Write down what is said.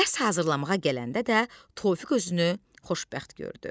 Dərs hazırlamağa gələndə də Tofiq özünü xoşbəxt gördü.